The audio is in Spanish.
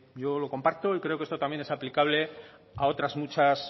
yo lo comparto y creo que esto también es aplicable a otras muchas